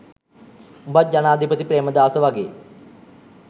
උඹත් ජනාධිපති ප්‍රේමදාස වගෙ